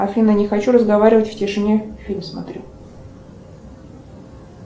афина не хочу разговаривать в тишине фильм смотрю